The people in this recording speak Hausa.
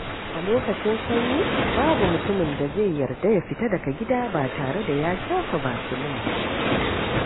A lokacin sanyi, babu mutumin da zai yarda ya fita daga gida ba tare da ya shafa basilin ba.